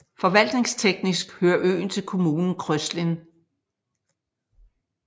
Forvaltningsteknisk hører øen til kommunen Kröslin